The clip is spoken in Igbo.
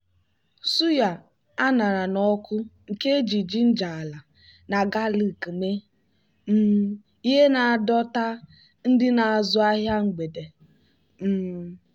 suya a ṅara n'ọkụ nke e ji ginger ala na galik mee um ihe na-adọ ta ndị na-azụ ahịa mgbede. um